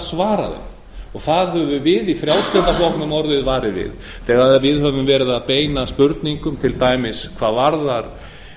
svara þeim það höfum við í frjálslynda flokknum orðið varir við þegar við höfum verið að beina spurningum til dæmis hvað varðar